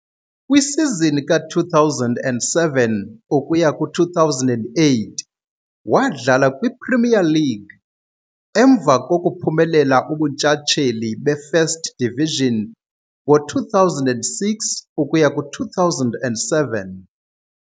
Kwisizini ka-2007-08 wadlala kwiPremier League, emva kokuphumelela ubuntshatsheli be-First Division ngo-2006-07.